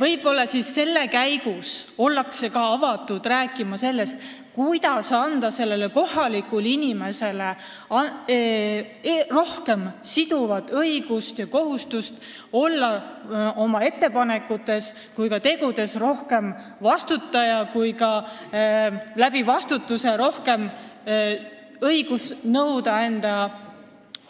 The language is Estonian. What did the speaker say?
Võib-olla haldusreformi käigus ollakse avatud rääkima ka sellest, kuidas anda kohalikule inimesele rohkem siduvat õigust ja kohustust olla oma ettepanekute ja tegude puhul rohkem vastutaja ja kuidas selle suurema vastutuse puhul kasutada ka suuremat õigust enda